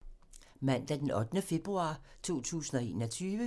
Mandag d. 8. februar 2021